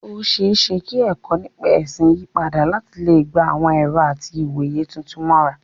Ó ṣeé ṣe kí ẹ̀kọ́ nípa ẹ̀sìn yí padà láti lè gba àwọn ẹ̀rọ àti ìwòye tuntun mọ́ra.